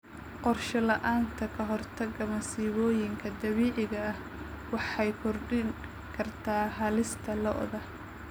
Qorshe la'aanta ka hortagga masiibooyinka dabiiciga ah waxay kordhin kartaa halista lo'da.